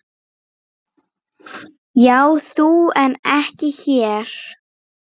Já þú en ekki þér!